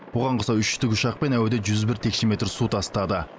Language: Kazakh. оған қоса үш тікұшақ әуеден жүз бір текше метр су тастады